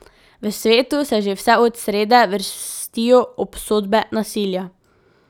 V svetu se že vse od srede vrstijo obsodbe nasilja.